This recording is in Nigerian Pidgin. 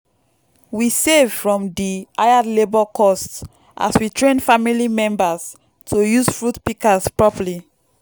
we save from di hired labour costs as we train family members to use fruit pikas properly